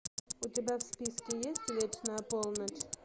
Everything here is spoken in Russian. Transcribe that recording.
у тебя в списке есть вечная полночь